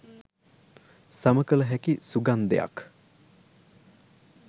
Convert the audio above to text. සමකල හැකි සුගන්ධයක්